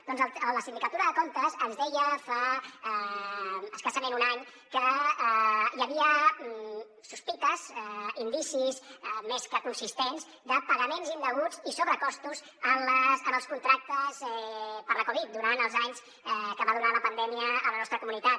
doncs la sindicatura de comptes ens deia fa escassament un any que hi havia sospites indicis més que consistents de pagaments indeguts i sobrecostos en els contractes per la covid durant els anys que va durar la pandèmia a la nostra comunitat